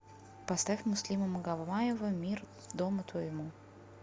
поставь муслима магомаева мир дому твоему